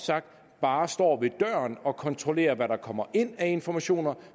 bare står ved døren og kontrollerer hvad der kommer ind af informationer